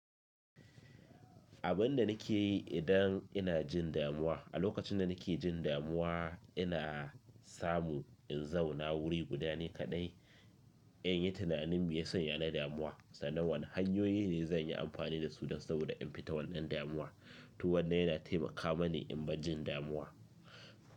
Abin da nake yi idan ina jin damuwa, a lokacin da nake jin damuwa ina samu in zauna wuri guda ne kaɗai in yi tunanin meya sanya ni damuwa, sannan wane hanyoyi ne zan yi amfani da su don saboda in fita wannan damuwa, to wannan yana taimaka mani in bar jin damuwa.